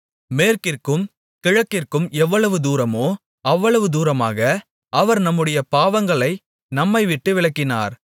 மேற்கிற்கும் கிழக்கிற்கும் எவ்வளவு தூரமோ அவ்வளவு தூரமாக அவர் நம்முடைய பாவங்களை நம்மைவிட்டு விலக்கினார்